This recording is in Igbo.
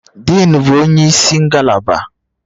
Diin, bụ onye isi ngalaba